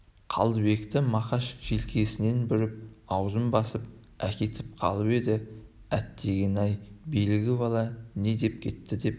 қалдыбекті мақаш желкесінен бүріп аузын басып әкетіп қалып еді әттеген-ай әлгі бала не деп кетті деп